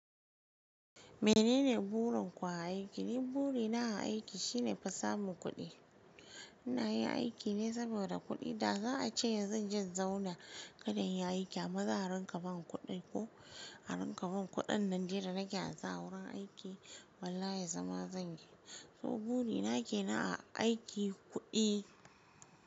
Menene burin ku a aiki? Ni buri na a aiki shine fa samun kuɗi. Ina yin aiki ne saboda kuɗi. Da za a ce zan je in zauna kada in yi aiki an ma za ranka ban kuɗin ko harin kaban kuɗin nan dai da nake haza wurin aiki, wallahi zama zan yi. To buri na ke na a aiki, kuɗi.